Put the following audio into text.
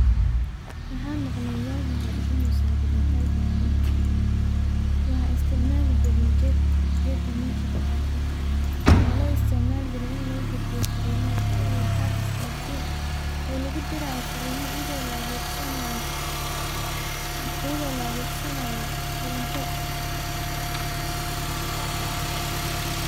Waxa maqle wagi hore inusan jirin telka gacanta oo laisiticmali jire gedkan sida war isgarsin oo lugudirayo farimo iyado laadegsanayo koronto.